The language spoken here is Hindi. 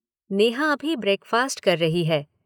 नेहा अभी ब्रेकफ़ास्ट कर रही है।